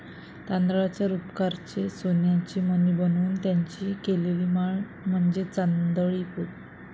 तांदळाच्या रुपकाराचे सोन्याचे मणी बनून त्यांची केलेली माळ म्हणजे तांदळी पोत.